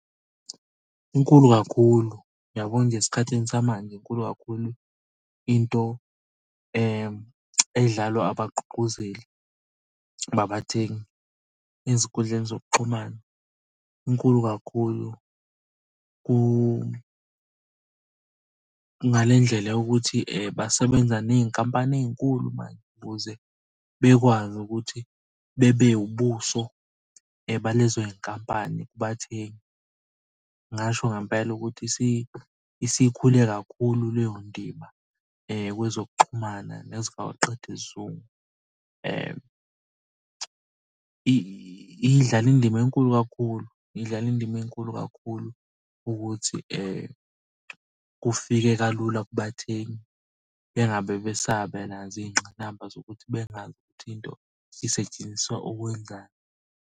Inkulu kakhulu, uyabona nje esikhathini samanje inkulu kakhulu into edlalwa abagqugquzeli nabathengi ezinkundleni zokuxhumana. Inkulu kakhulu ngale ndlela yokuthi basebenza ney'nkampani ey'nkulu manje ukuze bekwazi ukuthi bebe ubuso balezo y'nkampani kubathengi. Ngingasho ngempela ukuthi isikhule kakhulu leyo ndima kwezokuxhumana nezawoqedisizungu. Idlala indima enkulu kakhulu, idlala indima enkulu kakhulu ukuthi kufike kalula kubathengi bengabe besaba nazo iy'ngqinamba zokuthi bengazi ukuthi into isetshenziswa ukwenzani.